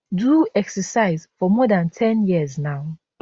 do exercise for more dan ten years now